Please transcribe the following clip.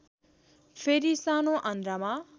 फेरि सानो आन्द्रामा